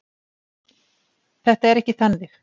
Þetta er ekki þannig.